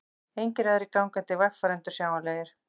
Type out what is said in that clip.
Engir aðrir gangandi vegfarendur sjáanlegir.